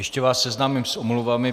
Ještě vás seznámím s omluvami.